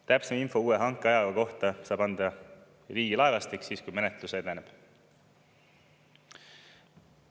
Täpsem info uue hankeaja kohta saab anda Riigilaevastik siis, kui menetlus edeneb.